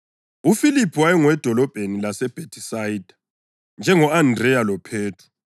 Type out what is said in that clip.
UFiliphu wayengowedolobheni lase-Bhethisayida, njengo-Andreya loPhethro.